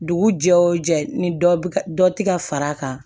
Dugu jɛ o jɛ ni dɔ bɛ ka dɔ tɛ ka fara a kan